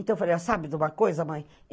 Então eu falei, sabe de uma coisa, mãe?